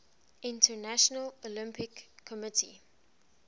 international olympic committee